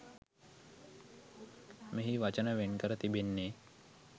මෙහි වචන වෙන් කර තිබෙන්නේ